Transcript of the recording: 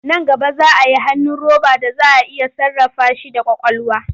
Nan gaba za a yi hannu roba da za a iya sarrafa shi da ƙwaƙwalwa.